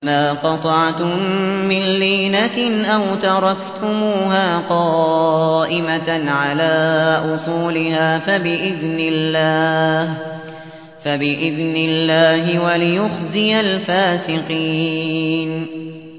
مَا قَطَعْتُم مِّن لِّينَةٍ أَوْ تَرَكْتُمُوهَا قَائِمَةً عَلَىٰ أُصُولِهَا فَبِإِذْنِ اللَّهِ وَلِيُخْزِيَ الْفَاسِقِينَ